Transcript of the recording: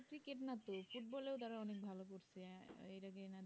cricket নাতো ফুটবলেই তারা ভালো করছে এইটা